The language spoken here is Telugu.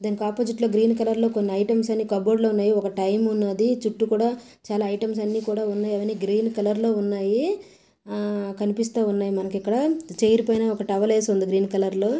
దీనికి ఒప్పొసిట్ లో గ్రీన్ కలర్ లో కొన్ని ఐటమ్స్ అన్ని కాబోర్డ్ లో ఉన్నాయి ఒక టైం ఉన్నది చుట్టూ కూడా చాలా ఐటమ్స్ ఉన్నాయి అవి అన్ని కూడా ఉన్నాయి. అవి అన్ని గ్రీన్ కలర్ లో ఉన్నాయి. ఆ కనిపిస్తా ఉన్నది మనకి ఇక్కడ చైర్ పైన ఒక టవల్ వేసి ఉంది గ్రీన్ కలర్ లో.